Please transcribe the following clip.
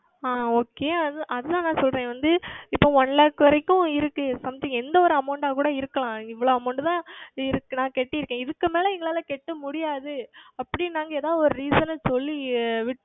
ஆஹ் Okay அது தான் நான் சொல்லுகிறேன் வந்து இப்பொழுது One Lakh வரைக்கும் இருக்கிறது Something எந்த ஓர் Amount ஆக கூட இருக்கலாம் இவ்வளவு Amount தான் இருக்கிறது நான் செலுத்தி இருக்கேன் இதற்கு மேல் எங்களால் செலுத்த முடியாது அப்படி என்று நாங்கள் எதாவது ஓர் Reason சொல்லி